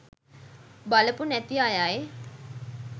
බලපු නැති අයයි